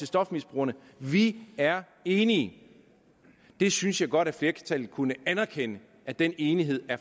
stofmisbrugerne vi er enige jeg synes godt at flertallet kunne anerkende at den enighed